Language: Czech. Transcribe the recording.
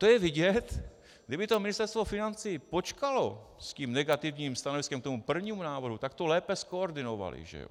To je vidět, kdyby to Ministerstvo financí počkalo s tím negativním stanoviskem k tomu prvnímu návrhu, tak to lépe zkoordinovali, že jo.